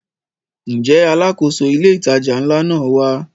Ǹjẹ́ Alákóso ilé ìtajà ńlá náà wá?